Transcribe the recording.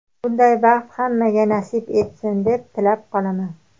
Bunday baxt hammaga nasib etsin deb tilab qolaman.